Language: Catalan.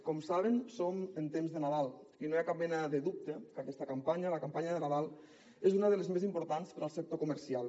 com saben som en temps de nadal i no hi ha cap mena de dubte que aquesta campanya la campanya de nadal és una de les més importants per al sector comercial